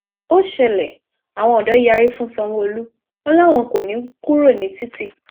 ó ṣẹlẹ àwọn odò yarí fún sanwóolú wọn làwọn kò ní í kúrò ní títì